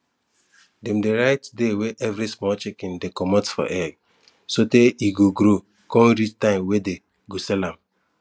dem dey write day wey everi small chicken dey commot for egg so tey e go grow con reach time wey dey go sell am